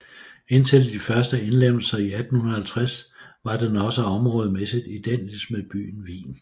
Indtil de første indlemmelser i 1850 var den også områdemæssigt identisk med byen Wien